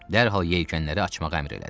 Dərhal yelkənləri açmağa əmr elədi.